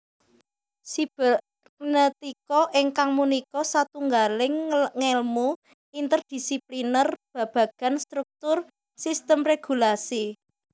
Sibernetika inggih punika satunggaling ngèlmu interdisipliner babagan struktur sistem régulasi